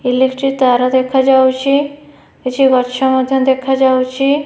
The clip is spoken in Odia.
ଇଲେକ୍ଟ୍ରି ତାର ଦେଖାଯାଉଚି କିଛି ଗଛ ମଧ୍ୟ ଦେଖାଯାଉଚି।